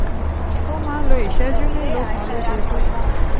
ó máa ń lo ìṣẹ́jú mélòó kan lójoojúmọ́